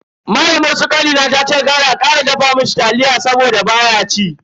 Malamar su kanina tace kar a kara dafa mishi taliya saboda baya ci.